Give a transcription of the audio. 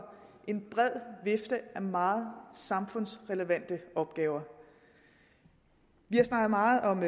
en bred vifte af meget samfundsrelevante opgaver vi har snakket meget om